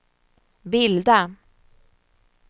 bilda